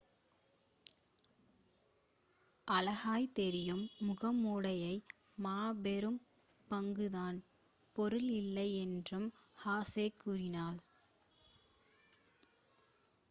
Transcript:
அழகாய்த் தெரியும் முகமுடைய மா வெறும் பாங்குதான் பொருள் இல்லை என்றும் ஹெசே கூறினார்